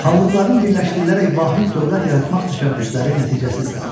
Xanlıqların birləşdirilərək vahid dövlət yaratmaq təşəbbüsləri nəticəsiz qaldı.